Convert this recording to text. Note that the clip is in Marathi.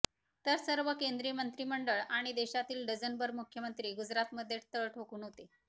तर सर्व केंद्रीय मंत्रीमंडळ आणि देशातील डझनभर मुख्यमंत्री गुजरातमध्ये तळ ठोकून होते